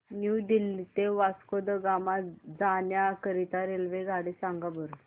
new Delhi ते Vasco da Gama जाण्या करीता रेल्वेगाडी सांगा बरं